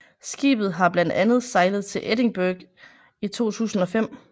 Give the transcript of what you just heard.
Skibet har blandt andet sejlet til Edinburgh i 2005